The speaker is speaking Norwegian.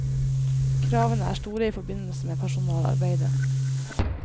Kravene er store i forbindelse med personalarbeidet.